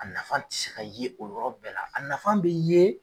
A nafa tɛ se ka ye o yɔrɔ bɛɛ la a nafan bɛ ye